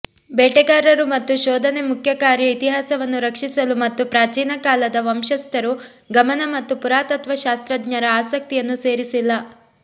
ಬೇಟೆಗಾರರು ಮತ್ತು ಶೋಧನೆ ಮುಖ್ಯ ಕಾರ್ಯ ಇತಿಹಾಸವನ್ನು ರಕ್ಷಿಸಲು ಮತ್ತು ಪ್ರಾಚೀನಕಾಲದ ವಂಶಸ್ಥರು ಗಮನ ಮತ್ತು ಪುರಾತತ್ವಶಾಸ್ತ್ರಜ್ಞರ ಆಸಕ್ತಿಯನ್ನು ಸೇರಿಸಿಲ್ಲ